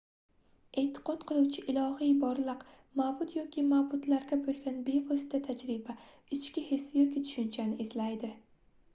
e'tiqod qiluvchi ilohiy borliq/ma'bud yoki ma'budlarga bo'lgan bevosita tajriba ichki his yoki tushunchani izlaydi